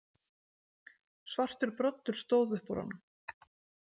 Svartur broddur stóð upp úr honum.